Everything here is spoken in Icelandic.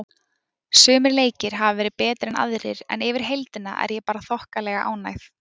Sumir leikir hafa verið betri en aðrir en yfir heildina er ég bara þokkalega ánægð.